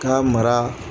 K'a mara